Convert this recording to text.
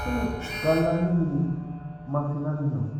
Kuni gallanni mini massinanna nooho?